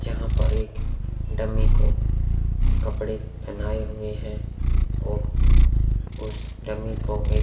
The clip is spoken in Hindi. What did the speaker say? जहाँ पर एक डमी को कपडे पहनाये हुए है और उस डमी को एक--